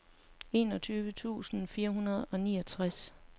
enogtyve tusind fire hundrede og niogtres